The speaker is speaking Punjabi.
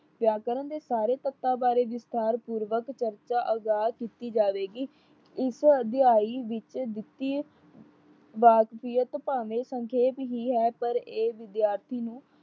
ਵਿਆਕਰਨ ਦੇ ਸਾਰੇ ਤੱਤਾ ਬਾਰੇ ਵਿਸਤਾਰ ਪੂਰਵਕ ਚਰਚਾ ਅਗਾਹ ਕੀਤੀ ਜਾਵੇਗੀ। ਇਸ ਅਧਿਆਇ ਵਿੱਚ ਦਿੱਤੀ ਵਾਕਫੀਅਤ ਭਾਵੇਂ ਸੰਖੇਪ ਹੀ ਹੈ। ਪਰ ਇਹ ਵਿਦਿਆਰਥੀ ਨੂੰ